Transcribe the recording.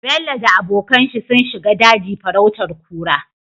Bello da abokan shi sun shiga daji farautar kura